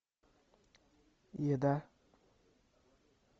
еда